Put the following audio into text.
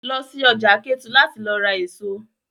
Lọ sí ọjà Kétu láti lọ ra èso!